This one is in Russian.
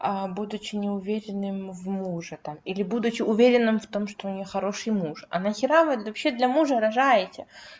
а будучи неуверенным в муже там или будучи уверенным в том что у неё хороший муж а нахера вы вообще для мужа рожаете